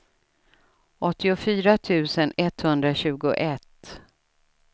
åttiofyra tusen etthundratjugoett